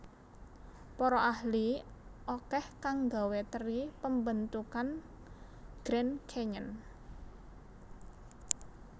Para ahli akeh kang nggawe teri pembentukan Grand Canyon